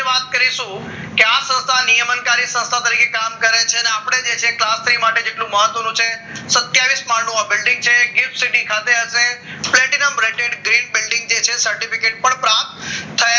વાત કરીશું કે આ સંસ્થાને નિયમન કાર્ય સંસ્થા તરીકે કામ કરે છે અને આપણે જે છે જેટલું મહત્વનું છે સતિયાવીસ માડ આ બિલ્ડીંગ છે green city ખાતે આપણે પ્લેટિનમ રેકેટ બે બિલ્ડીંગ જે છે સર્ટિફિકેટ પણ સર્ટિફિકેશન પ્રાપ્ત